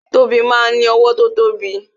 Tobi máa ń ní owó tó tóbi